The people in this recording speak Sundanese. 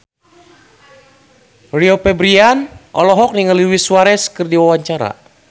Rio Febrian olohok ningali Luis Suarez keur diwawancara